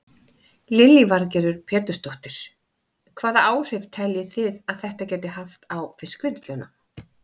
Lillý Valgerður Pétursdóttir: Hvaða áhrif telji þið að þetta geti haft á fiskvinnsluna?